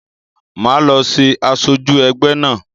Máa lọ ṣe asoju ẹgbẹ́ náà